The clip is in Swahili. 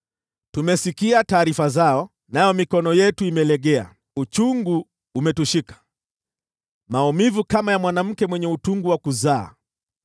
Tumesikia taarifa zao, nayo mikono yetu imelegea. Uchungu umetushika, maumivu kama ya mwanamke katika utungu wa kuzaa.